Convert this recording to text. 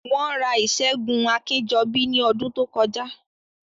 Wọ́n ra ìṣẹ́gun Akínjọbí ní ọdún tó kọjá